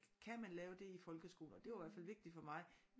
Kan man lave det i folkeskoler det var i hvert fald vigtigt for mig